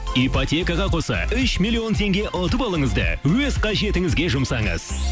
ипотекаға қоса үш миллион теңге ұтып алыңыз да өз қажетінізге жұмсаңыз